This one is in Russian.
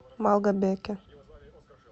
малгобеке